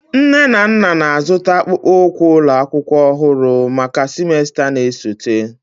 Nne na nna na-azụta akpụkpọ ụkwụ ụlọ akwụkwọ ọhụrụ maka semester na-esote.